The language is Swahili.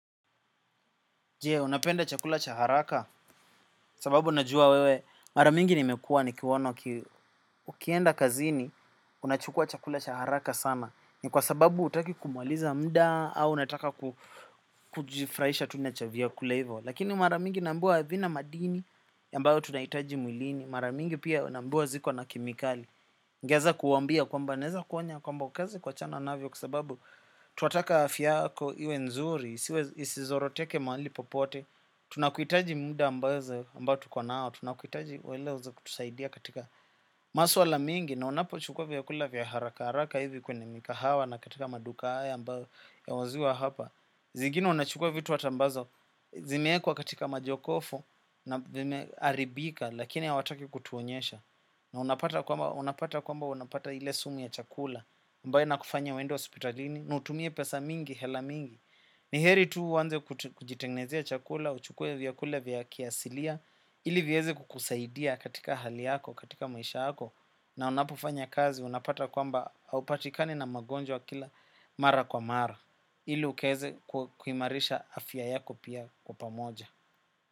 Je unapenda chakula chaharaka sababu najua wewe maramingi nimekua ni kiwono ukienda kazini unachukua chakula chaharaka sana. Ni kwa sababu hutaki kumaliza muda au unataka kujifurahisha tunachavya kulahivyo. Lakini maramingi naambiwa havina madini ambayo tunahitaji mwilini maramingi pia naambiwa ziko na kemikali. Ningeweza kuwaambia kwamba naweza kuonya kwamba ukaweza kuwa chana navyo kwasababu tunataka afyayako iwe nzuri. Isizoro teke mahali popote. Tunakuhitaji muda ambazo ambao tukonao. Tunakuhitaji uweze kutusaidia katika maswa ala mingi. Na unapo chukua vya kula vya haraka haraka hivi kwenye mikahawa. Na katika maduka haya ambazo ya nauziwa hapa. Zingine unachukua vitu hataambazo. Zimeekwa katika majokofu na vimeharibika. Lakini ha wataki kutuonyesha. Na unapata kwamba unapata ile sumu ya chakula ambayo inakufanya uende hospitalini. Nautumie pesa mingi, hela mingi. Niheri tu uanze kujitengenezea chakula, uchukue vya kula vya kiasilia, ili viweze kukusaidia katika hali yako, katika maisha yako, na unapofanya kazi unapata kwamba haupatikani na magonjwa kila mara kwa mara, ili ukaweze kuimarisha afya yako pia kwa pamoja.